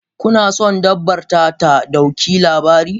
Kuna son dabbar ta ɗauki labari?